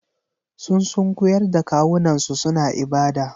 Sun sunkuyar da kawunansu suna ibada.